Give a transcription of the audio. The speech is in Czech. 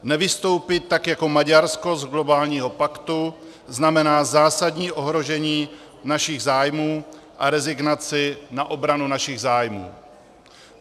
Nevystoupit tak jako Maďarsko z globálního paktu znamená zásadní ohrožení našich zájmů a rezignaci na obranu našich zájmů.